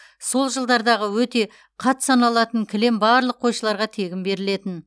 сол жылдардағы өте қат саналатын кілем барлық қойшыларға тегін берілетін